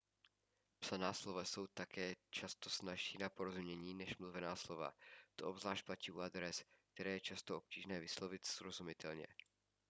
psaná slova jsou také často snazší na porozumění než mluvená slova to obzvlášť platí u adres které je často obtížné vyslovit srozumitelně